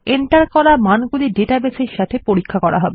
enter করা মানগুলি database এর সাথে পরীক্ষা হবে